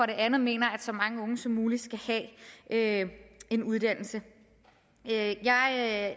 det andet mener at så mange unge som muligt skal have en uddannelse jeg